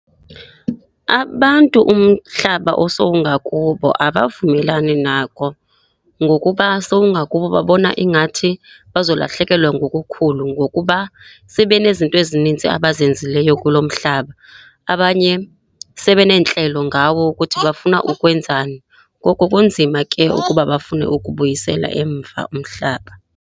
Abantu umhlaba osowungakubo abavumelani nako ngokuba sowungakubo. Babona ingathi bazolahlekelwa ngokukhulu ngokuba sebe nezinto ezinintsi abazenzileyo kulo mhlaba, abanye sebe neentlelo ngawo ukuthi bafuna ukwenzani. Ngoko kunzima ke ukuba bafune ukubuyisela emva umhlaba.